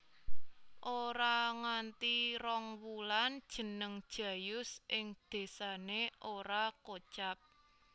Ora nganti rong wulan jeneng Jayus ing désane ora kocap